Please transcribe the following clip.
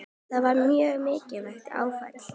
Það var mjög mikið áfall.